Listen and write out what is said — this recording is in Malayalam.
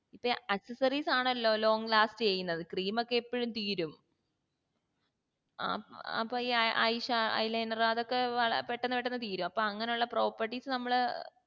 accessories ആണല്ലോ long last ചെയ്യുന്നത് cream ഒക്കെ എപ്പോഴും തീരും ഏർ അപ്പൊ ഈ eyesha eyeliner അതൊക്കെ പെട്ടന്ന് പെട്ടന്ന് തീരും അപ്പൊ അങ്ങനെ ഉള്ള properties നമ്മള്